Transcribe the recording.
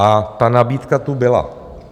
A ta nabídka tu byla.